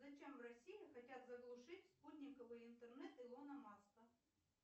зачем в россии хотят заглушить спутниковый интернет илона маска